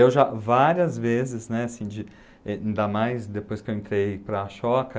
Eu já várias vezes, né, assim de, eh, ainda mais depois que eu entrei para a Choca...